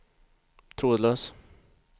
trådlös